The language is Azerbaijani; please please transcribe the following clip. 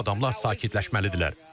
Bu adamlar sakitləşməlidirlər.